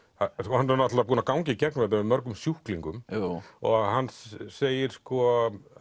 hann er náttúrulega búinn að ganga í gegnum þetta með mörgum sjúklingum og hann segir sko